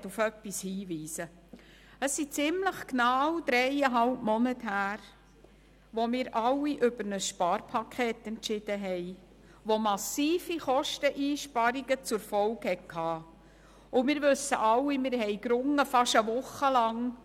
Vor ziemlich genau dreieinhalb Monaten entschieden wir alle über ein Sparpaket, das massive Kosteneinsparungen zur Folge hat, und wir alle wissen, dass wir beinahe eine Woche lang gerungen haben